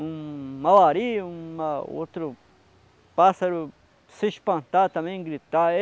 Um, uma um outro pássaro se espantar também, gritar.